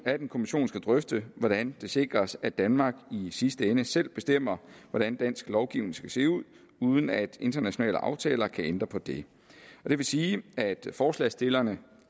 at en kommission skal drøfte hvordan det sikres at danmark i sidste ende selv bestemmer hvordan dansk lovgivning skal se ud uden at internationale aftaler kan ændre på det det vil sige at forslagsstillerne